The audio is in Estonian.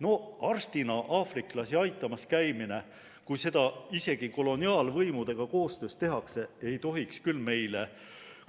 No arstina aafriklasi aitamas käimine, kui seda isegi koloniaalvõimudega koostöös tehakse, ei tohiks küll meile